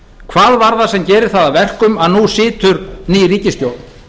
hvað var það sem gerir það að verkum að nú situr ný ríkisstjórn